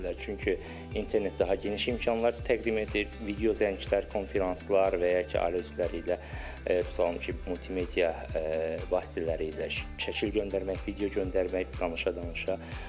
Çünki internet daha geniş imkanlar təqdim edir, video zənglər, konfranslar və ya ki ailə üzvləri ilə tutalım ki, multimedia vasitələri ilə şəkil göndərmək, video göndərmək, danışa-danışa.